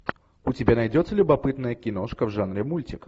у тебя найдется любопытная киношка в жанре мультик